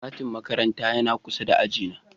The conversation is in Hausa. Kantin makarantar yana kusa da ajina.